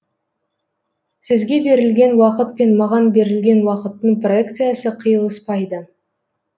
сізге берілген уақыт пен маған берілген уақыттың проекциясы қиылыспайды